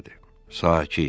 Sakit!